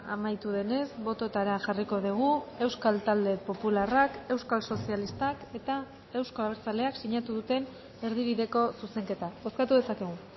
amaitu denez bototara jarriko dugu euskal talde popularrak euskal sozialistak eta euzko abertzaleak sinatu duten erdibideko zuzenketa bozkatu dezakegu